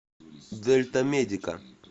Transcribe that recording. дельтамедика